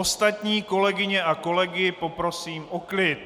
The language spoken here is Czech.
Ostatní kolegyně a kolegy poprosím o klid!